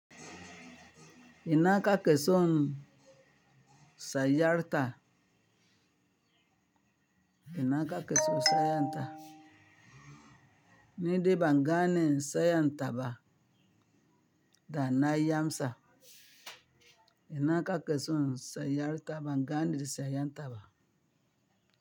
Ina ka keson sayarta? Ina ka keson sayarta? Niɗe bangane sayantaba da nayamsa. Ina ka keson sayarta bangane sayantaba?